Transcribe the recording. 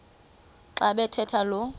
xa bathetha lo